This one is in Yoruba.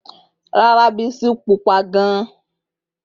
Rara, Bisi jẹ ododo pupọ.